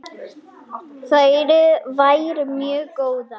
Þær væru mjög góðar.